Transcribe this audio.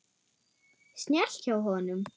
Snjallt hjá honum.